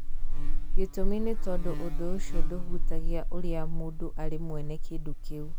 Gĩtũmi nĩ tondũ ũndũ ũcio ndũhutagia ũrĩa mũndũ arĩ mwene kĩndũ kĩu.